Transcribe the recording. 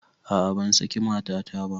A'a ban saki matata ba